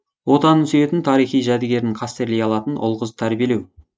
отанын сүйетін тарихи жәдігерін қастерлей алатын ұл қыз тәрбиелеу